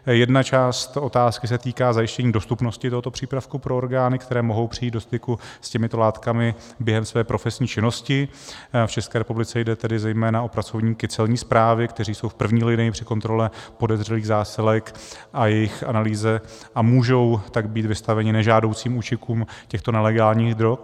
Jedna část otázky se týká zajištění dostupnosti tohoto přípravku pro orgány, které mohou přijít do styku s těmito látkami během své profesní činnosti, v České republice jde tedy zejména o pracovníky Celní správy, kteří jsou v první linii při kontrole podezřelých zásilek a jejich analýze, a můžou tak být vystaveni nežádoucím účinkům těchto nelegálních drog.